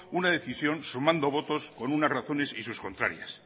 una decisión sumando votos con unas razones y sus contrarias